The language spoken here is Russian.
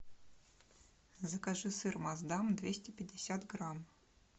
закажи сыр масдам двести пятьдесят грамм